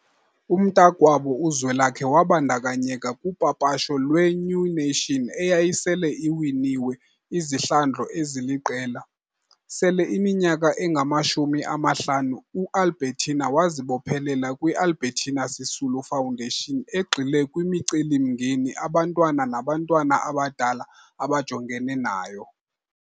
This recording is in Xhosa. Umntakwabo uZwelakhe wabandakanyeka kupapasho lwe- New Nation eyayisele iwiniwe izihlandlo eziliqela. Sele iyiminyaka engamashumi amahlanu u- Albertina wazibophelela kwi- Albertina Sisulu Foundation egxile kwimicelimngeni abantwana nabantwana abadala abajongene nayo.